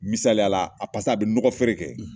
Misaliyala a a bɛ nɔgɔfeere kɛ